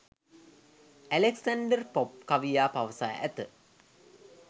Alexander Pope කවියා පවසා ඇත.